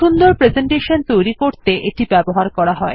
সুন্দর প্রেসেন্টেশন তৈরী করতে এটি ব্যবহার করা হয়